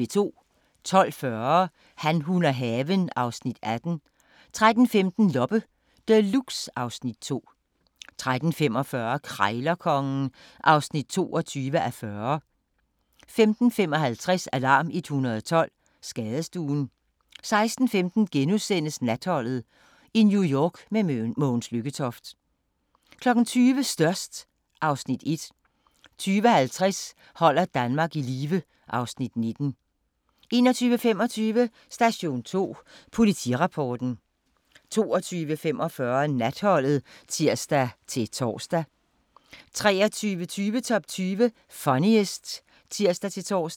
12:40: Han, hun og haven (Afs. 18) 13:15: Loppe Deluxe (Afs. 2) 13:45: Krejlerkongen (22:40) 15:55: Alarm 112 – Skadestuen 16:15: Natholdet – i New York med Mogens Lykketoft * 20:00: Størst (Afs. 1) 20:50: Holder Danmark i live (Afs. 19) 21:25: Station 2: Politirapporten 22:45: Natholdet (tir-tor) 23:20: Top 20 Funniest (tir-tor)